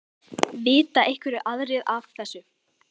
Vita einhverjir aðrir af þessu?